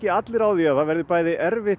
allir á því að það verði erfitt